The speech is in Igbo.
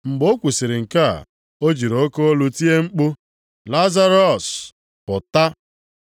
Mgbe o kwusiri nke a, o jiri oke olu tie mkpu, “Lazarọs, pụta!”